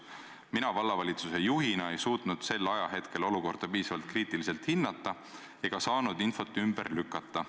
Vallavalitsuse juhina ei suutnud ma sel ajahetkel olukorda piisavalt kriitiliselt hinnata ega saadud infot ümber lükata.